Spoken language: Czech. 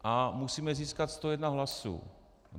A musíme získat 101 hlasů.